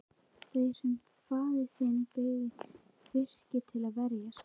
Þeir sem faðir þinn byggði virkið til að verjast.